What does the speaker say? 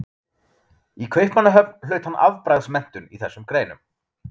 Í Kaupmannahöfn hlaut hann afbragðsmenntun í þessum greinum.